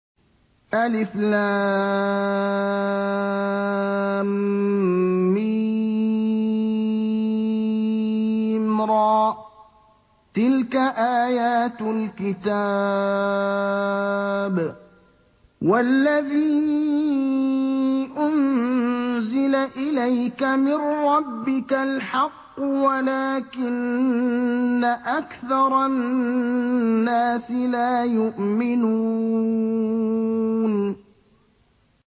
المر ۚ تِلْكَ آيَاتُ الْكِتَابِ ۗ وَالَّذِي أُنزِلَ إِلَيْكَ مِن رَّبِّكَ الْحَقُّ وَلَٰكِنَّ أَكْثَرَ النَّاسِ لَا يُؤْمِنُونَ